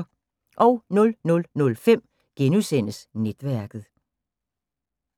00:05: Netværket *